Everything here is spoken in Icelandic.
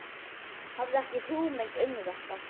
Hafði ekki hugmynd um þetta.